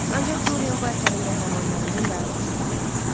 Ancaq Dorian bu əsərin qəhrəmanlarından daha xoşbəxt idi.